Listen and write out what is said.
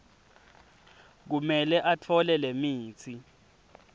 kumele atfole lemitsi